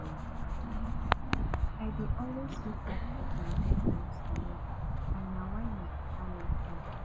i dey always meet up with my deadlines for work and na why my oga like me